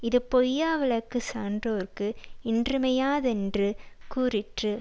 இது பொய்யாவிளக்குச் சான்றோர்க்கு இன்றியமையாதென்று கூறிற்று